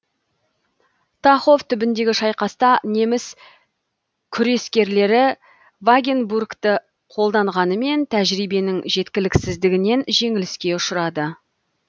тахов түбіндегі шайқаста неміс күрескерлері вагенбургті қолданғанымен тәжірибенің жеткіліксіздігінен жеңіліске ұшырады